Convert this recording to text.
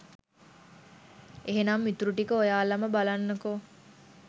එහෙනම් ඉතුරු ටික ඔයාලම බලන්නකෝ